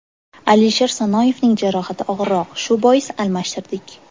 Alisher Sanoyevning jarohati og‘irroq, shu bois almashtirdik.